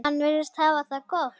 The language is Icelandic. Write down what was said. Hann virðist hafa það gott.